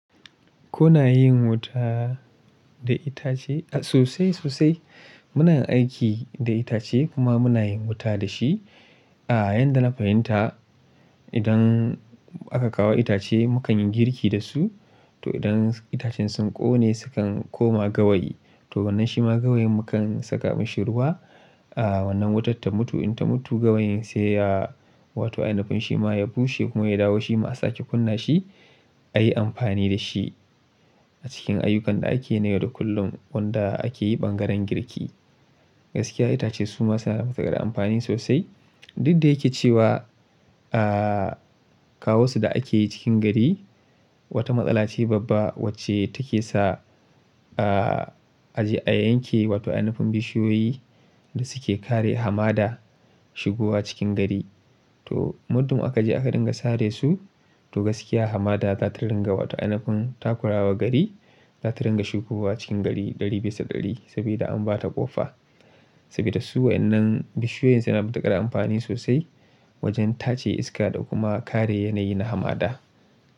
Kuna yin wuta da itace? Sosai, sosai. Muna yin aiki da itace kuma muna yin wuta da shi. A'a, yadda na fahimta idan aka kawo itace, mu kan yi girki da su. To idan itacen sun ƙone sukan koma gawayi. To wannan shi ma gawayen mu kan saka mashi ruwa. A wannan wutar ta mutu. In ta mutu gawayen sai ya wato ainafin shi ma ya bushe kuma ya dawo shi ma a sake kunna shi a yi amfani da shi a cikin ayyukan da ake yi na yau da kullum wanda ake yi ɓangaren girki. Gaskiya itace su ma suna fiye da amfani sosai. Duk da yake cewa, a kawo su da ake yi cikin gari wata matsala ce babba wacce take sa a je a yanke wato ainafin bishiyoyi da suke kare hamada shigowa cikin gari. To muddin aka je aka dinga sare su to gaskiya hamada za ta ringa wato ainafin takurawa gari za ta ringa shigowa cikin gari ɗari bisa ɗari saboda an ba ta ƙofa. Saboda su wannan bishiyoyin suna ba ta gara amfani sosai wajen tace iska da kuma kare yanayi na hamada.